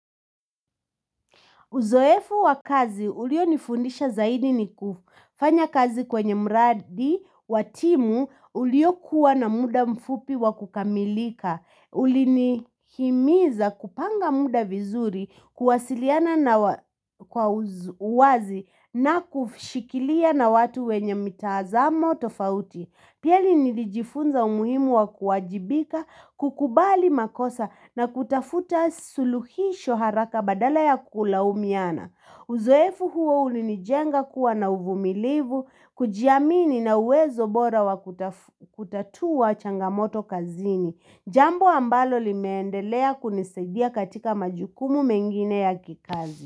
Uzoefu wa kazi, ulionifundisha zaidi ni kufanya kazi kwenye mradi, wa timu, uliokuwa na muda mfupi wa kukamilika, ulinihimiza kupanga muda vizuri, kuwasiliana na kwa uazi na kushikilia na watu wenye mitazamo tofauti. Piali nilijifunza umuhimu wa kuwajibika, kukubali makosa na kutafuta suluhisho haraka badala ya kulaumiana. Uzoefu huo ulinijenga kuwa na uvumilivu, kujiamini na uwezo bora wa kutatua changamoto kazini. Jambo ambalo limeendelea kunisaidia katika majukumu mengine ya kikazi.